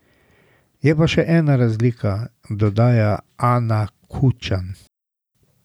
Je pa še ena razlika, dodaja Ana Kučan.